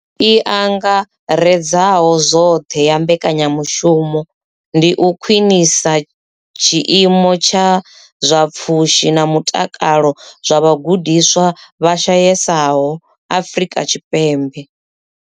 I angaredzaho zwoṱhe ya mbekanyamushumo ndi u khwinisa tshiimo tsha zwa pfushi na mutakalo zwa vhagudiswa vha shayesaho Afrika Tshipembe.